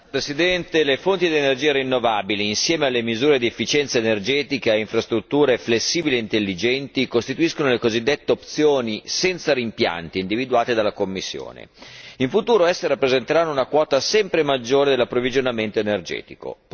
Signor Presidente, onorevoli colleghi, le fonti di energia rinnovabili, insieme a misure di efficienza energetica e ad infrastrutture flessibili e intelligenti costituiscono le cosiddette opzioni senza rimpianti individuate dalla Commissione. In futuro esse rappresenteranno una quota sempre maggiore dell'approvvigionamento energetico.